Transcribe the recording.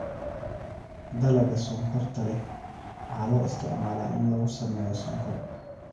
Dalagga sonkorta leh waxaa loo isticmaalaa in lagu sameeyo sonkor.